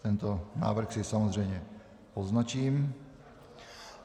Tento návrh si samozřejmě poznačím.